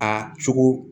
A cogo